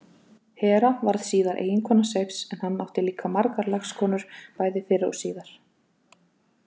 Hera varð síðar eiginkona Seifs en hann átti líka margar lagskonur bæði fyrr og síðar.